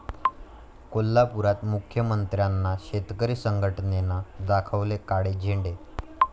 कोल्हापुरात मुख्यमंत्र्यांना शेतकरी संघटनेनं दाखवले काळे झेंडे